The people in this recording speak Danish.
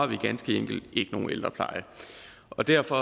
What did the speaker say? vi ganske enkelt ikke nogen ældrepleje og derfor